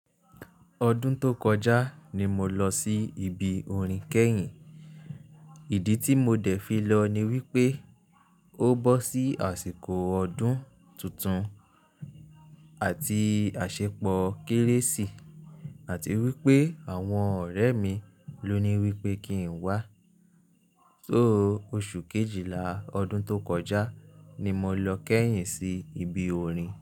Ọdún tó kọjá ni mo lọ sí ibi orin kẹ́yìn. Ìdí tí mo dẹ̀ fi lọ ni wípé ó bọ́ sí àsìkò ọdún tuntun àti àṣepọ̀ Kérésì àti wípé àwọn ọ̀rẹ́ mi ló ní wípé kí n wá. Só oṣù Kejìlá ọdún tó kọjá ni mo lọ kẹ́yìn sí ibi orin.